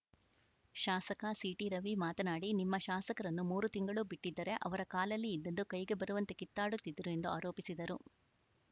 ಶಾಸಕ ಸಿಟಿ ರವಿ ಮಾತನಾಡಿ ನಿಮ್ಮ ಶಾಸಕರನ್ನು ಮೂರು ತಿಂಗಳು ಬಿಟ್ಟಿದ್ದರೆ ಅವರ ಕಾಲಲ್ಲಿ ಇದ್ದುದ್ದು ಕೈಗೆ ಬರುವಂತೆ ಕಿತ್ತಾಡುತ್ತಿದ್ದರು ಎಂದು ಆರೋಪಿಸಿದರು